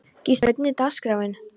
Gísla, hvernig er dagskráin?